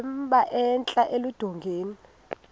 emba entla eludongeni